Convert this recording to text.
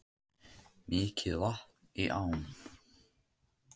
Mikið vatn í ám